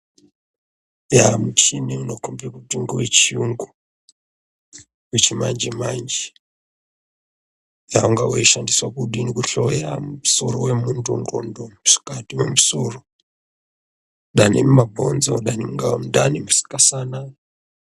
Yaa muchini unokombe kuti ngewe chiyungu wechimanjemanje wanga uchishandiswe kudini kuhloya musoro wemuntu, nxlondo ,musikati wemusoro, danimumabhonzo dani mungava mundani ,musikasana.